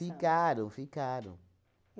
Ficaram, ficaram.